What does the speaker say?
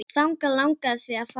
Þangað langaði þig að fara.